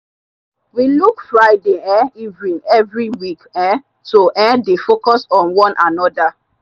we look friday um evening every week um to um dey focus on one another.